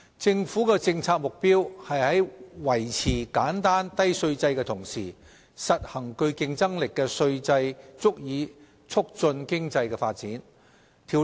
政府的政策目標是在維持簡單低稅制的同時，實行具競爭力的稅制以促進經濟發展。